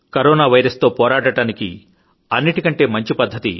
corona virus తో పోరాడడానికి అన్నింటికంటే మంచి పద్ధతి